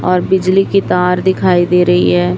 और बिजली की तार दिखाई दे रही है।